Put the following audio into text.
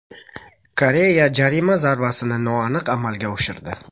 Koreya jarima zarbasini noaniq amalga oshirdi.